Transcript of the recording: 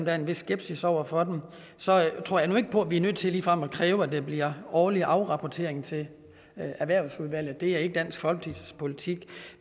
er en vis skepsis over for dem så tror jeg nu ikke på at vi er nødt til ligefrem at kræve at der bliver årlige afrapporteringer til erhvervsudvalget det er ikke dansk folkepartis politik